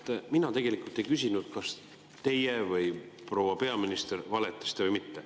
Vat mina tegelikult ei küsinud, kas teie valetasite või proua peaminister valetas.